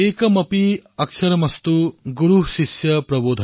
एकमपि अक्षरमस्तु गुरुः शिष्यं प्रबोधयेत्